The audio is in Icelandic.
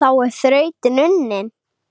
Þá er þrautin unnin